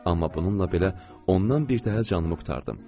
Amma bununla belə ondan birtəhər canımı qurtardım.